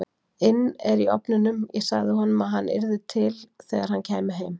inn er í ofninum, ég sagði honum að hann yrði til þegar hann kæmi heim.